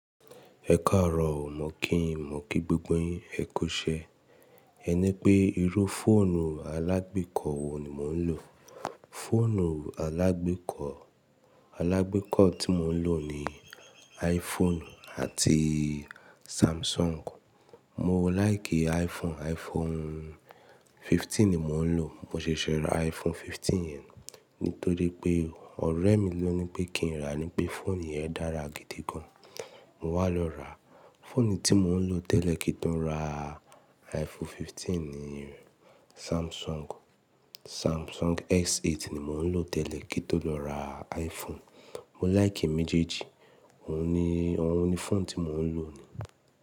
Ẹ káàárọ̀ mọ̀ kí ń mọ̀ kí gbogbo yin kò iṣẹ. Ẹ ní pé irú fóònù alágbèékọ́ wo ni mò ń lò? Fóònù alágbèékọ́, alágbèékọ́ tí mò ń lò ni iPhone àti Samsung. Mo láìkì iPhone, iPhone 15 ni mò ń lò. Mo ṣẹ̀ṣẹ̀ ra iPhone 15 yẹn nítorí pé ọ̀rẹ́ mi ló ní pé kí n ra, ní pé fóònù yẹn dára gidi gan. Mo wá lọ ra. Fóònù tí mò ń lò tẹ́lẹ̀ kí n tó ra iPhone 15 ni Samsung. Samsung S8 ni mò ń lò tẹ́lẹ̀ kí tó lọ ra iPhone. Mo láìkì èmejèèjì, òun ni, òun ni fóònù tí mò ń lò ni.